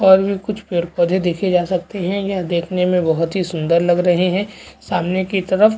और भी कुछ पेड़ पौधे देखे जा सकते है यह देखने में बहुत ही सुन्दर लग रहै है सामने की तरफ --